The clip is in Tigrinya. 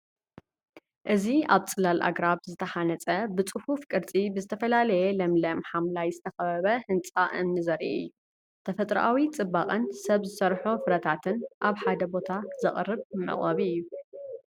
እዚ ኣብ ጽላል ኣግራብ ዝተሃንጸ፡ ብጽፉፍ ቅርጺ ብዝተፈላለየ ለምለም ሓምላይ ዝተኸበበ ህንጻ እምኒ ዘርኢ እዩ። ተፈጥሮኣዊ ጽባቐን ሰብ ዝሰርሖ ፍጥረታትን ኣብ ሓደ ቦታ ዘቕርብ መዕቆቢ እዩ።